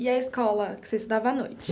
E a escola que você estudava à noite?